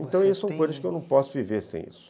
Então, são coisas que eu não posso viver sem isso.